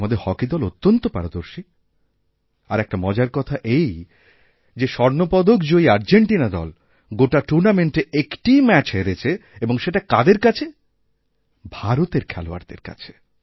আমাদের হকি দল অত্যন্ত পারদর্শী আর একটা মজার কথা এই যে স্বর্ণপদক জয়ীআর্জেন্টিনা দল গোটা টুর্ণামেন্টে একটিই ম্যাচ হেরেছে এবং সেটা কাদের কাছে ভারতেরখেলোয়াড়দের কাছে